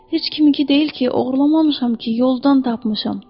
Heç kiminki deyil ki, oğurlamamışam ki, yoldan tapmışam.